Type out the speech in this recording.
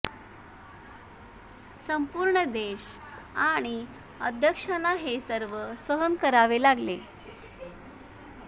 संपूर्ण देश आणि अध्यक्षांना हे सर्व सहन करावे लागले